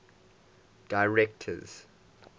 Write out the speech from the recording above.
directors